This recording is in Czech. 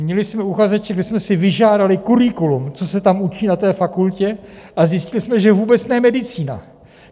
Měli jsme uchazeče, kdy jsme si vyžádali curriculum, co se tam učí na té fakultě, a zjistili jsme, že vůbec ne medicína.